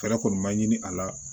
Fɛɛrɛ kɔni ma ɲini a la